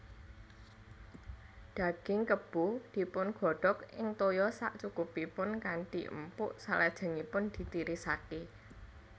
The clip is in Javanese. Daging Kebo dipungodhog ing toya sakcukupipun kanthi empuk salajengipun ditirisake